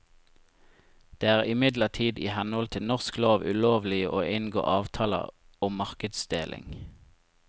Det er imidlertid i henhold til norsk lov ulovlig å inngå avtaler om markedsdeling.